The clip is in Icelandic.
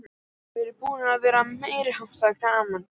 Það er búið að vera meiriháttar gaman!